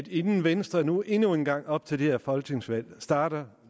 inden venstre nu endnu en gang op til det her folketingsvalg starter